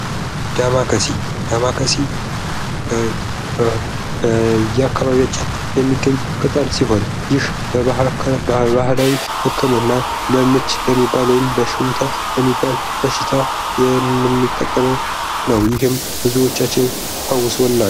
ዳማከሴ፤ ዳማከሴ በየአካባቢያችን የሚገኝ ቅጠል ሲሆን ይህ ባህላዊ ህክምና ለምች ለሚባል ወይም ለሽውታ ለሚባለው በሽታ የምንጠቀመው ነው። ይህም ብዙዎቻችን ፈውሶናል።